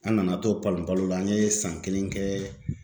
An nana to palon palon an ye san kelen kɛ